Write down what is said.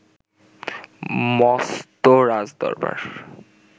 মস্ত রাজদরবার